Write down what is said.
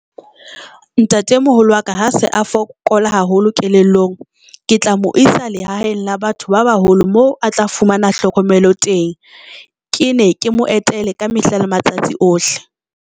Ntatemoholo wa ka ha se a fokola haholo kelellong, ke tla mo isa lehaeng la batho ba baholo mo a tla fumana hlokomelo teng.Ke ne ke mo etele ka mehla le matsatsi ohle.